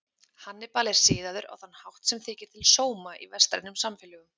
Hannibal er siðaður á þann hátt sem þykir til sóma í vestrænum samfélögum.